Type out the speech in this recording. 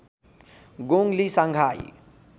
गोङ Li Shanghai